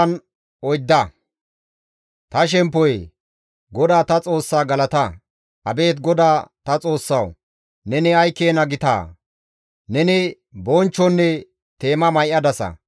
Ta shemppoyee! GODAA ta Xoossa galata! Abeet GODAA ta Xoossawu! Neni ay keena gitaa! Neni bonchchonne teema may7adasa.